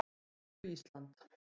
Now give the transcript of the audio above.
Til hamingju Ísland.